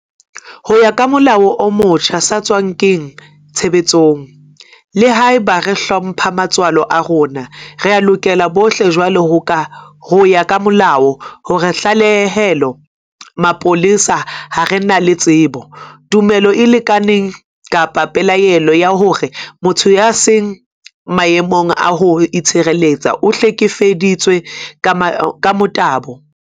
Ho ya ka molao o motjha o sa tswa kena tshebetsong, le haeba re hlompha matswalo a rona, rea lokela bohle jwale ho ya ka molao ho tlalehela mapolesa ha re na le tsebo, tumelo e lekaneng kapa pelaelo ya hore motho ya seng maemong a ho itshireletsa o hlekefeditswe ka motabo.